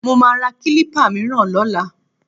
Mo máa ra kílípà mìíràn lọ́la